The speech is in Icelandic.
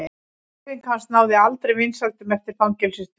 Hreyfing hans náði aldrei vinsældum eftir fangelsisdvölina.